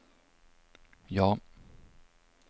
ja